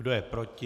Kdo je proti?